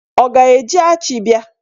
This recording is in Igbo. Ọ ga-eji achi bịa?